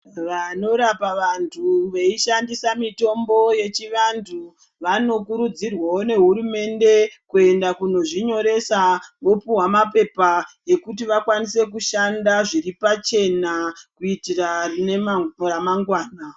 Vanorapa vandu veishandisa mitombo yechivandu vanokurudzirwawo ngehurumende kuenda Kuno zvinyoresa, vopuwa mapepa okuti vakwanise kushanda zviri pachena kuitira ramangwana.